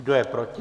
Kdo je proti?